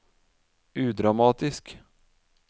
udramatisk